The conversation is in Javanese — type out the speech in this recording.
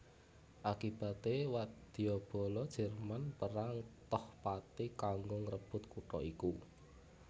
Akibaté wadyabala Jerman perang toh pati kanggo ngrebut kutha iku